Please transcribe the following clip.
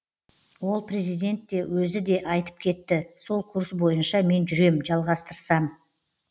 ол президент те өзі де айтып кетті сол курс бойынша мен жүрем жалғастырам